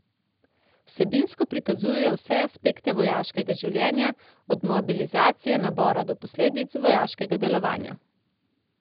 Vsebinsko prikazujejo vse aspekte vojaškega življenja, od mobilizacije, nabora do posledic vojaškega delovanja.